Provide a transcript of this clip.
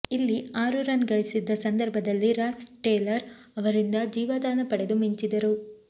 ಇಲ್ಲಿ ಆರು ರನ್ ಗಳಿಸಿದ್ದ ಸಂದರ್ಭದಲ್ಲಿ ರಾಸ್ ಟೇಲರ್ ಅವರಿಂದ ಜೀವದಾನ ಪಡೆದು ಮಿಂಚಿದರು